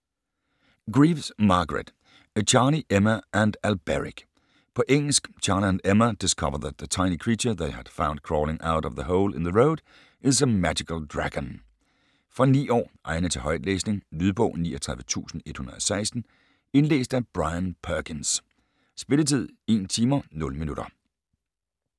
Greaves, Margaret: Charlie, Emma and Alberic På engelsk. Charlie and Emma discover that the tiny creature they had found crawling out of a hole in the road is a magical dragon. Fra 9 år. Egnet til højtlæsning. Lydbog 39116 Indlæst af Brian Perkins. Spilletid: 1 timer, 0 minutter.